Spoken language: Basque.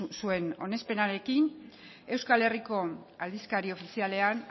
zuen onespenarekin euskal herriko aldizkari ofizialean